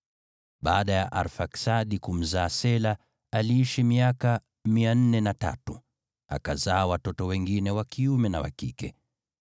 Baada ya Arfaksadi kumzaa Shela, aliishi miaka 403, akazaa watoto wengine wa kiume na wa kike.